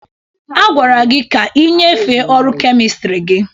A gwara gị ka ị nyefee ọrụ kemistri gị!